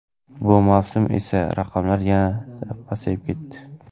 Bu mavsum esa raqamlar yanada pasayib ketdi.